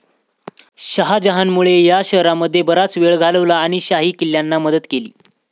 शहाजहानमुळे या शहरामध्ये बराच वेळ घालवला आणि शाही किल्ल्यांना मदत केली.